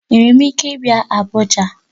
Enwere m ike ịbịa Abuja?